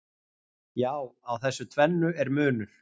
Já, á þessu tvennu er munur.